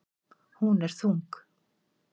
Hún er þung.